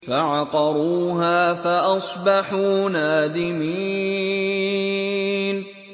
فَعَقَرُوهَا فَأَصْبَحُوا نَادِمِينَ